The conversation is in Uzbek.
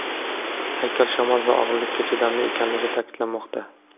Haykal shamol va og‘irlikka chidamli ekanligi ta’kidlanmoqda.